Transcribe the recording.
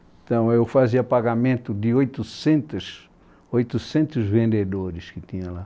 Então, eu fazia pagamento de oitocentos, oitocentos vendedores que tinha lá.